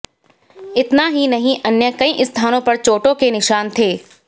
इतना ही नहीं अन्य कई स्थानों पर चोटों के निशान थे